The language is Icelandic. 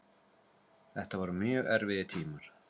Þetta voru mjög erfiðir tímar.